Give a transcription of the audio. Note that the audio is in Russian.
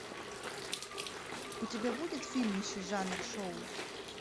у тебя будет фильмище жанр шоу